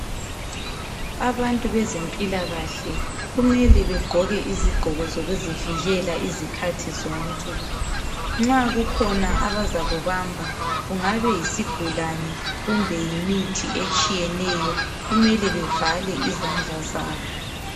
Abantu bezempilakahle kumele begqoke izigqoko zokuzivikela izikhathi zonke nxa kukhona abazakubamba kungabe yisigulane kumbe yimithi etshiyeneyo kumele bevale izandla zabo